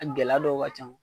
A gɛlɛ dɔw ka ca